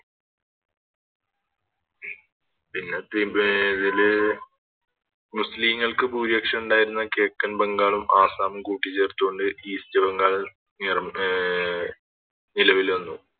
പിന്നെ ത് വെ ഇതില് മുസ്ലീങ്ങൾക്ക് ഭൂരിപക്ഷം ഉണ്ടായിരുന്നകിഴക്കൻ ബംഗാളും ആസ്സാമും കൂട്ടിച്ചേർത്തുകൊണ്ട് ഈസ്റ്റ് ബംഗാൾ അഹ് നിലവിൽ വന്നു